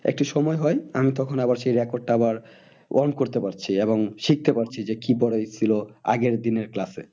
একটু সময় হয় আমি তখন আবার সেই record টা আবার গ্রহণ করতে পারছি এবং শিখতে পারছি যে কি পড়াই ছিল আগের দিনের class এ